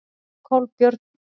Kolbjörn